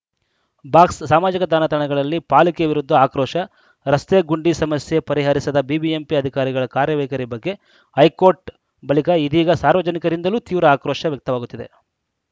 box ಸಾಮಾಜಿಕ ಜಾಲತಾಣದಲ್ಲಿ ಪಾಲಿಕೆ ವಿರುದ್ಧ ಆಕ್ರೋಶ ರಸ್ತೆಗುಂಡಿ ಸಮಸ್ಯೆ ಪರಿಹರಿಸದ ಬಿಬಿಎಂಪಿ ಅಧಿಕಾರಿಗಳ ಕಾರ್ಯವೈಖರಿ ಬಗ್ಗೆ ಹೈಕೋರ್ಟ್‌ ಬಳಿಕ ಇದೀಗ ಸಾರ್ವಜನಿಕರಿಂದಲೂ ತೀವ್ರ ಆಕ್ರೋಶ ವ್ಯಕ್ತವಾಗುತ್ತಿದೆ